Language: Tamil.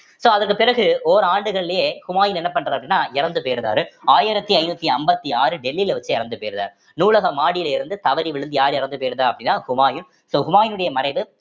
so அதற்கு பிறகு ஓராண்டுகளிலேயே ஹுமாயூன் என்ன பண்றார் அப்படின்னா இறந்து போயிடுறாரு ஆயிரத்தி ஐந்நூத்தி ஐம்பத்தி ஆறு டெல்லில வச்சு இறந்து போயிடுறாரு நூலக மாடியில இருந்து தவறி விழுந்து யார் இறந்து போயிறுதா அப்படின்னா ஹுமாயூன் so ஹுமாயினுடைய மறைவு